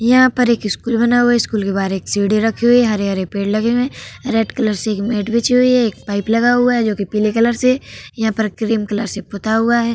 यहाँ पर एक स्कूल बना हुआ है। स्कूल के बाहर एक सीढ़ी रखी हुई है। हरे-हरे पेड़ लगे हुए है। रेड कलर से एक नेट बिछी हुई है। एक पाइप लगा हुई जो कि पीले कलर से। यहाँ पर क्रीम कलर से पुता हुआ है।